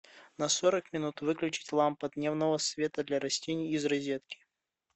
на сорок минут выключить лампа дневного света для растений из розетки